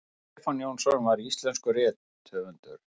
stefán jónsson var íslenskur rithöfundur